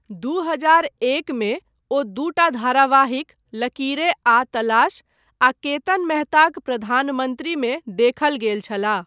दू हजार एक मे, ओ दूटा धारावाहिक, लकीरें आ तलाश, आ केतन मेहताक प्रधानमन्त्रीमे देखल गेल छलाह।